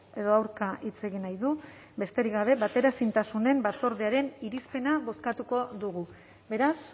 edo aurka hitz egin nahi du besterik gabe bateraezintasunen batzordearen irizpena bozkatuko dugu beraz